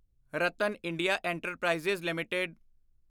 Ratan India enterprises LTD